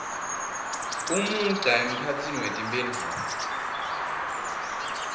umugca emkhatsini wetimphendvulo